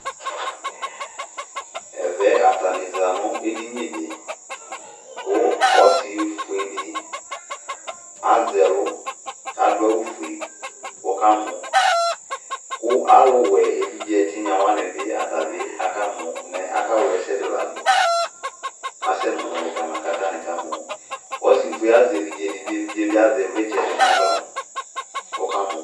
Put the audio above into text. Ɛvɛ atanɩ za nʋ edini dɩ kʋ ɔsɩfue dɩ azɛ ɛlʋ, kʋ adʋ awʋfue kʋ ɔkamɔ Kʋ alʋwɛ evidze ɛtinya wanɩ bi ata bɩ akamɔ Mɛ aka wla ɛsɛ dɩ la dʋ Asɛ nʋ ʋmɔlɩ kʋ atanɩ ka mɔ Ɔsɩfue azɛ evidze dɩ kʋ evidze yɛ bɩ azɛ ɩvlɩtsɛ dɩ nʋ aɣla kʋ ɔka mɔ